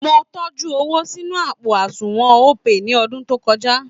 Mo tọ́jú owó sínú àpò àṣùnwọ̀n Opay ní ọ̀dún tó kọjá